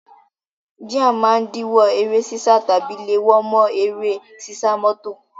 Jíà máa ń díwó eré sísá tàbí léwó mọ́ eré sísá mọ́tò.